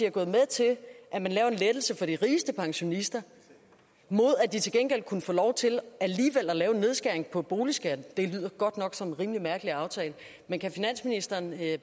er gået med til at man laver en lettelse for de rigeste pensionister mod at de til gengæld kunne få lov til alligevel at lave en nedskæring på boligen det lyder godt nok som en rimelig mærkelig aftale men kan finansministeren